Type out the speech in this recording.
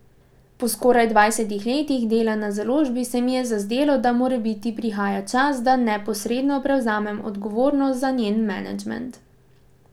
Po skoraj dvajsetih letih dela na založbi se mi je zazdelo, da morebiti prihaja čas, da neposredno prevzamem odgovornost za njen menedžment.